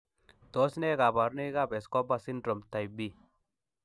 Tos nee koborunoikab Escobar syndrome, type B?